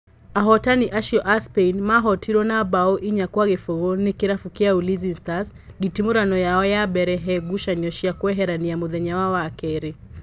Ahotani acio a Spain mahotirwo na mbaũ inya gwa gĩbũgũ nĩ kĩrabu gĩa Ulinzi Stars nditimũrano yao ya mbere he ngucanio cia kweherania mũthenya wa wakerĩ